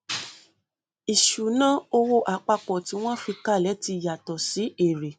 ìṣúná owó apapọ tí wọn fi kalẹ tí yàtọ sí èrè